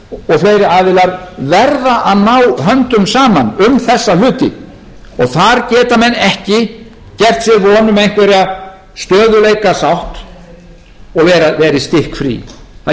heildarsamtök og fleiri aðilar verða að ná höndum saman um þessa hluti þar geta menn ekki gert sér vonir um einhvern stöðugleikasátt og verið stikkfrí það